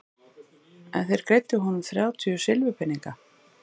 En þeir greiddu honum þrjátíu silfurpeninga.